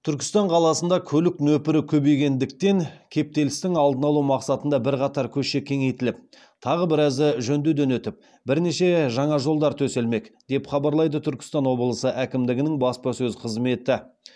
түркістан қаласында көлік нөпірі көбейгендіктен кептелістің алдын алу мақсатында бірқатар көше кеңейтіліп тағы біразы жөндеуден өтіп бірнеше жаңа жолдар төселмек деп хабарлайды түркістан облысы әкімдігінің баспасөз қызметі